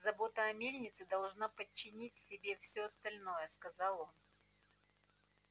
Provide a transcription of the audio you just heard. забота о мельнице должна подчинить себе всё остальное сказал он